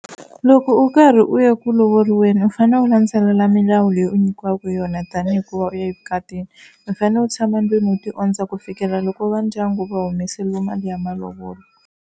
Loko u karhi u ya ku lovoriweni u fanele u landzelela milawu leyi u nyikiwaka yona tanihi hikuva u ya evukatini. U fanele u tshama ndlwini u tiondza ku fikelela loko va ndyangu va humesile mali ya malovolo.